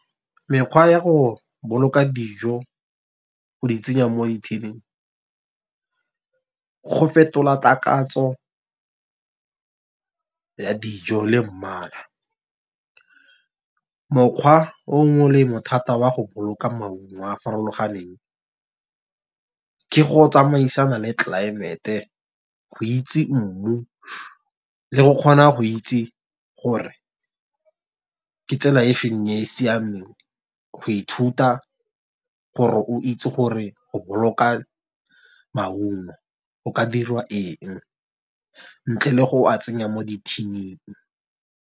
Mekgwa ya go boloka dijo go di tsenya mo dithining go fetola takatso ya dijo le mmala. Mokgwa o molemo thata wa go boloka maungo a a farologaneng, ke go tsamaisana le tlelaemete go itse mmu, le go kgona go itse gore ke tsela e feng e e siameng. Go ithuta gore o itse gore go boloka maungo go ka dirwa eng ntle le go a tsenya mo dithining.